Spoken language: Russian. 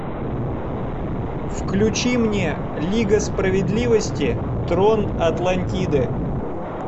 включи мне лига справедливости трон атлантиды